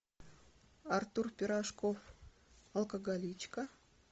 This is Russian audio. артур пирожков алкоголичка